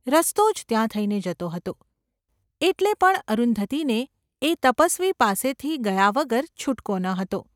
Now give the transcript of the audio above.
રસ્તો જ ત્યાં થઈને જતો હતો, એટલે પણ અરુંધતીને એ તપસ્વી પાસેથી ગયા વગર છૂટકો ન હતો.